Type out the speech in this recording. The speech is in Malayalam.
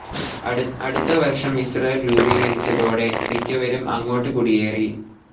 അടുത്ത വർഷം ഇസ്രയേൽ രൂപീകരിച്ചതോടെ മിക്കവരും അങ്ങോട്ട് കുടിയേറി.